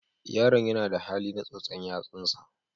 Yaron yana da hali na tsotsa yatsunsa.